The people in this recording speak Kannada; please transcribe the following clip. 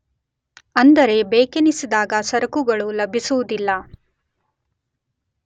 ಅಂದರೆ ಬೇಕೆನಿಸಿದಾಗ ಸರಕುಗಳು ಲಭಿಸುವುದಿಲ್ಲ.